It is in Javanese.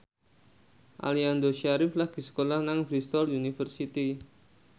Aliando Syarif lagi sekolah nang Bristol university